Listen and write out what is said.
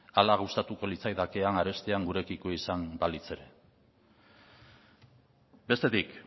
hala gustatuko litzaidake arestian gurekiko izan balitz ere bestetik